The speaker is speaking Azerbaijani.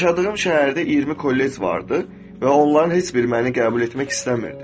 Yaşadığım şəhərdə 20 kollec vardı və onların heç biri məni qəbul etmək istəmirdi.